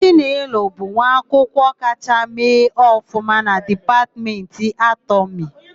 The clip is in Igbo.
Chinelo bụ nwaakwụkwọ kachaa mee ọfụma na Dipatmentị Anatọmị.